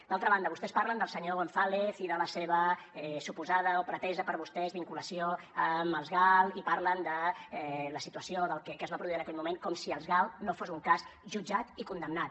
d’altra banda vostès parlen del senyor gonzález i de la seva suposada o pretesa per vostès vinculació amb els gal i parlen de la situació que es va produir en aquell moment com si els gal no fos un cas jutjat i condemnat